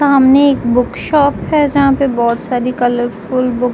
सामने एक book shop है जहां पर बहुत सारी कलरफुल बुक --